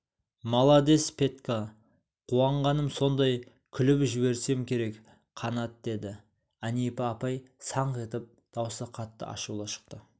маладес петька қуанғаным сондай күліп жіберсем керек қанат деді әнипа апай саңқ етіп даусы қатты ашулы шықты